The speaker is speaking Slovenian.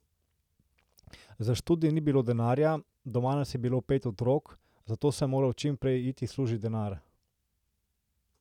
Za študij ni bilo denarja, doma nas je bilo pet otrok, zato sem moral čim prej iti služit denar.